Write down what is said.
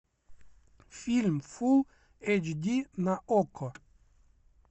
фильм фулл эйч ди на окко